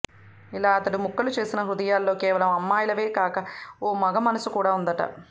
ఇలా అతడు ముక్కలు చేసిన హృదయాల్లో కేవలం అమ్మాయిలవే కాక ఓ మగ మనసు కూడా ఉందట